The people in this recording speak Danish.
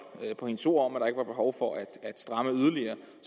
på hendes ord om at var behov for at stramme yderligere